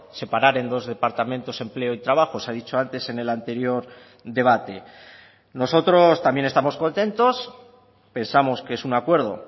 separar en dos departamentos empleo y trabajo se ha dicho antes en el anterior debate nosotros también estamos contentos pensamos que es un acuerdo